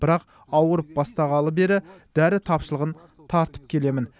бірақ ауырып бастағалы бері дәрі тапшылығын тартып келемін